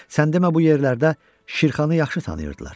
Sən demə bu yerlərdə Şirxanı yaxşı tanıyırdılar.